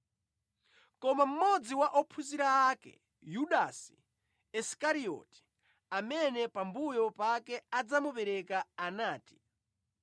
Koma mmodzi wa ophunzira ake, Yudasi Isikarioti, amene pambuyo pake adzamupereka anati,